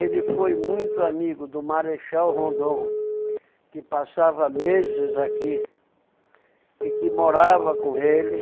Ele foi muito amigo do Marechal Rondon, que passava meses aqui e que morava com ele.